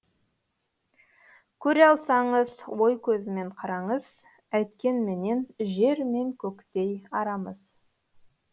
көре алсаңыз ой көзімен қараңыз әйткенменен жер мен көктей арамыз